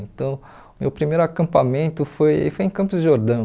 Então, meu primeiro acampamento foi foi em Campos de Jordão.